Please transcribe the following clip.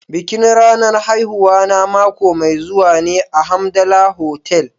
Bikin ranar haihuwana mako mai zuwa ne a Hamdala Hotel.